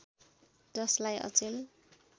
जसलाई अचेल